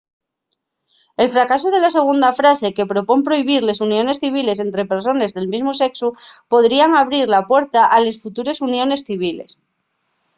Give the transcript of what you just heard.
el fracasu de la segunda frase que propón prohibir les uniones civiles ente persones del mesmu sexu podría abrir la puerta a les futures uniones civiles